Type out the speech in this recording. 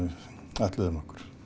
ætluðum okkur